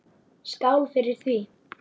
Skál fyrir því!